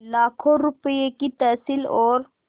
लाखों रुपये की तहसील और